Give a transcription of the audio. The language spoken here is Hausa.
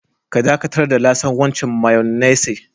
Ka dakatar da lasan wancan mayonnaise.